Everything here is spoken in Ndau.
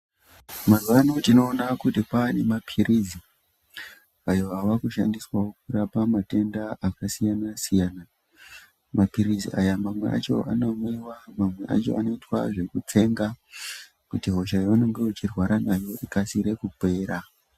Mazuvano tinoona kuti kwanemaphirizi ayo ava kushandiswawo kurapa matenda akasiyana siyana. Maphiritsi aya mamwe acho anomwiwa, mamwe acho anoitwa zvekutsenga kuti hosha yaunenge uchirwara nayo ikasire kupera.